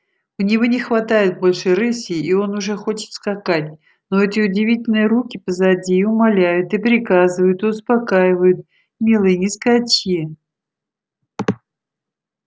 у него не хватает больше рыси и он уже хочет скакать но эти удивительные руки позади и умоляют и приказывают и успокаивают милый не скачи